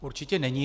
Určitě není.